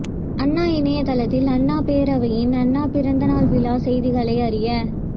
அண்ணா இணையதளத்தில் அண்ணா பேரவையின் அண்ணா பிறந்த நாள் விழா செய்திகளை அறிய